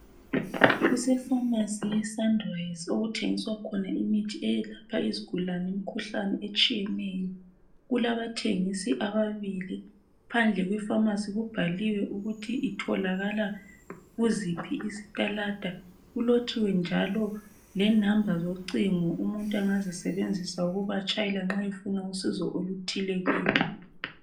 Kuse pharmacy ye sunrise okuthengiswa khona imithi eyehlupha izigulane imikhuhlane eminengi etshiyeneyo , kulabathengisi ababili phandle kwe pharmacy kubhaliwe ukuthi itholakala kuziphi istalada , kulotshiwe njalo lenamba zocingo umuntu engazisebenzisa ukubatshayela nxa efuna usizo oluthile kibo